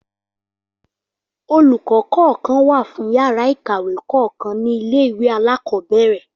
Olùkọ́ kọ̀ọ̀kan wá fún yàrá ìkàwé kọ̀ọ̀kan ní ilé ìwé alákọ̀ọ́bẹ̀rẹ̀